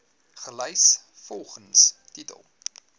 gelys volgens titel